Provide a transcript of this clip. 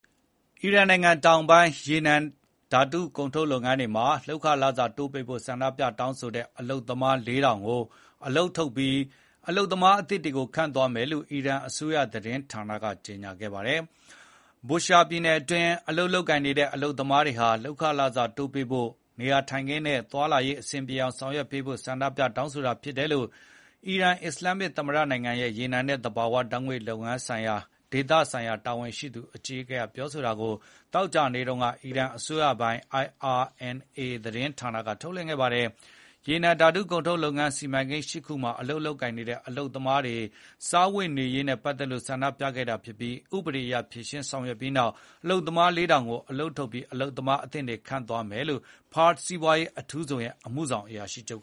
အီရန်နိုင်ငံတောင်ပိုင်း ရေနံဓာတုကုန်ထုတ်လုပ်ငန်းတွေမှာ လုပ်ခလစာတိုးပေးဖို့ ဆန္ဒပြတောင်းဆိုတဲ့ အလုပ်သမား ၄,၀၀၀ ကိုအလုပ်ထုတ်ပြီး အလုပ်သမားအသစ်တွေခန့်သွားမယ်လို့ အီရန်အစိုးရ သတင်းဌာနက ကြေညာခဲ့ပါတယ်။ Bushehr ပြည်နယ်အတွင်း အလုပ်လုပ်နေတဲ့ အလုပ်သမားတွေဟာ လုပ်ခလစာတိုးပေးဖို့၊ နေရာထိုင်ခင်းနဲ့သွားလာရေးအဆင်ပြေအောင် ဆောင်ရွက်ပေးဖို့ ဆန္ဒပြတောင်းဆိုတာဖြစ်တယ်လို့ အီရန်အစ္စလာမ်မစ် သမ္မတနိုင်ငံ ရေနံနဲ့သဘာဝ ဓာတ်ငွေ့လုပ်ငန်းရဲ့ ဒေသဆိုင်ရာတာဝန်ရှိအကြီးအကဲကပြောတာကို သောကြာနေ့တုန်းက အီရန်အစိုးရပိုင် IRNA သတင်းဌာနကထုတ်လွှင့်ခဲ့ပါတယ်။ ရေနံဓာတုကုန်ထုတ်လုပ်ငန်း စီမံကိန်း ၈ ခုမှာ အလုပ်လုပ်ကိုင်နေတဲ့အလုပ်သမားတွေ စားဝတ်နေရေးနဲ့ပတ်သက်လို့ဆန္ ပြခဲ့တာဖြစ်ပြီး ဥပဒေအရ ဖြေရှင်းဆောင်ရွက်ပြီးနောက် အလုပ်သမား ၄,၀၀၀ ကို အလုပ်ထုတ်ပြီး အလုပ်သမားအသစ်တွေနဲ့ အစားထိုးခန့်အပ်သွားမယ်လို့ Pars စီးပွားရေးအထူးဇုံရဲ့ အမှုဆောင်အရာရှိချုပ်